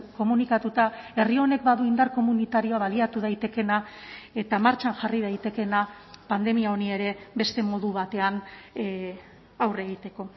komunikatuta herri honek badu indar komunitarioa baliatu daitekeena eta martxan jarri daitekeena pandemia honi ere beste modu batean aurre egiteko